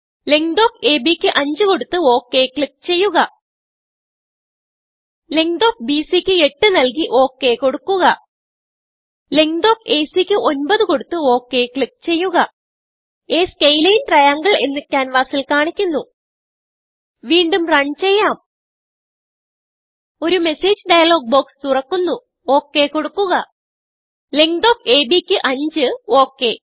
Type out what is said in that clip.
length of AB ക്ക് 5കൊടുത്ത് okay click ചെയ്യുക ലെങ്ത് ഓഫ് ബിസി ക്ക് 8നല്കി okകൊടുക്കുക ലെങ്ത് ഓഫ് ACക്ക് 9കൊടുത്ത് ഒക് ക്ലിക്ക് ചെയ്യുക A സ്കേലിൻ triangleഎന്ന് ക്യാൻവാസിൽ കാണുന്നു വീണ്ടും റൺ ചെയ്യാം ഒരു മെസ്സേജ് ഡയലോഗ് ബോക്സ് തുറക്കുന്നു okകൊടുക്കുക ലെങ്ത് ഓഫ് ABക്ക് 5 ഒക്